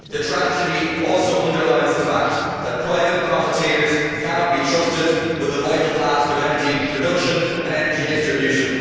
The tragedy also underlines the fact that private profiteers cannot be trusted with the vital task of energy production and energy distribution.